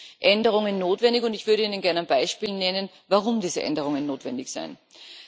Hier sind Änderungen notwendig, und ich würde Ihnen gerne ein Beispiel nennen, warum diese Änderungen notwendig sind.